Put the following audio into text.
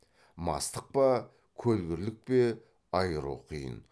мастық па көлгірлік пе айыру қиын